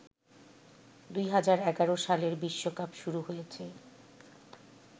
২০১১ সালের বিশ্বকাপ শুরু হয়েছে